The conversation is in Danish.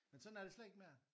Men sådan er det slet ikke mere